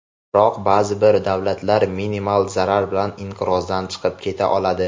Biroq ba’zi bir davlatlar minimal zarar bilan inqirozdan chiqib keta oladi.